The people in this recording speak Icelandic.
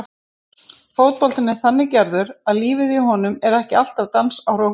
Fótboltinn er þannig gerður að lífið í honum er ekki alltaf dans á rósum.